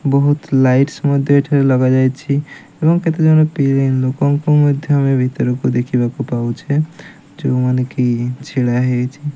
ବହୁତ ଲାଇଟ'ସ ଲଗା ଯାଇଛି ଏବଂ କେତେ ଜନ ଲୋକଙ୍କ ମଧ୍ୟ ଭିତରକୁ ଦେଖି ବାକୁ ପାଉଛେ ଜଉ ମାନେ କି ଛିଡ଼ା ହେଇଚି।